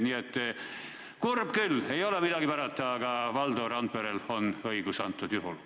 Nii et kurb küll, ei ole midagi parata, aga Valdo Randperel on selles asjas õigus.